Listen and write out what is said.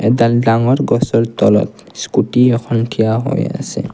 দুডাল ডাঙৰ গছৰ তলত স্কুটী এখন থিয় হৈ আছে।